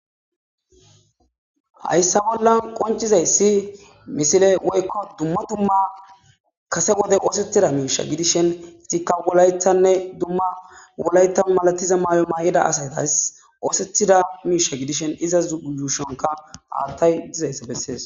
hayssa bollan qoncizayssi misile woykko dumma dumma kase wode oosetida miisha gidishen itikka wolaythanne dumma wolayta malatiza maay7o maa7ida asaytas oosetida miisha gidishen iza uyuushonka aattay dizayssa bessees